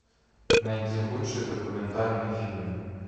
найди лучший документальный фильм